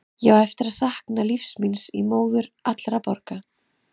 Ég á eftir að sakna lífsins míns í móður allra borga.